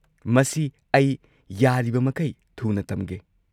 ꯃꯁꯤ ꯑꯩ ꯌꯥꯔꯤꯕꯃꯈꯩ ꯊꯨꯅ ꯇꯝꯒꯦ꯫